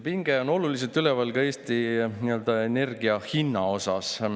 Pinge on Eestis endiselt üleval ka energia hinna tõttu.